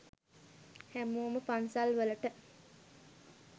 හැමෝම පන්සල් වලට